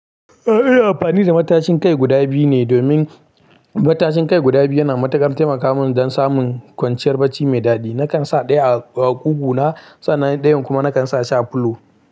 Eh ina amfani da matashin kai guda biyu ne domin matashin kai guda biyu yana matukar taimakawa mun don samun kwanciyar bacci mai dadi. Nakan sa ɗaya a ƙugu na sannan ɗayan kuma nakan sa a pillow.